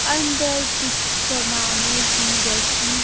अंदर कुछ समाने भी रखी--